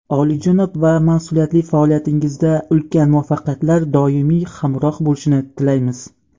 oliyjanob va mas’uliyatli faoliyatingizda ulkan muvaffaqiyatlar doimiy hamroh bo‘lishini tilaymiz.